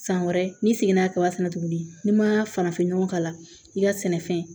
San wɛrɛ n'i seginna kaba fɛnɛ tuguni n'i ma farafinɲɔgɔ k'a la i ka sɛnɛfɛn